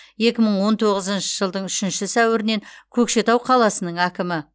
екі мың он тоғызыншы жылдың үшінші сәуірінен көкшетау қаласының әкімі